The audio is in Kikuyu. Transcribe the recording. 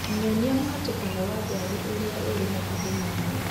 Nyonia mũhatĩkano wa ngari ũrĩa ũrĩ hakuhĩ na niĩ